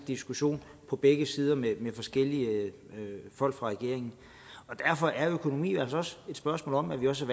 diskussion på begge sider med forskellige folk fra regeringen derfor er økonomi altså også et spørgsmål om at vi også